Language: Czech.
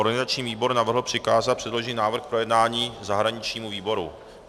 Organizační výbor navrhl přikázat předložený návrh k projednání zahraničnímu výboru.